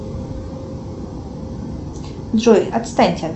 джой отстаньте